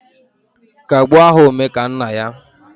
Kagbuo aha Omekannaya